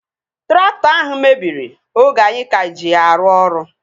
Traktọ ahụ mebiri oge anyị ka ji ya arụ ọrụ